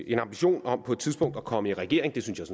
en ambition om på et tidspunkt at komme i regering det synes